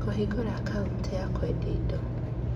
Kũhingũra akaunti na kwendia indo.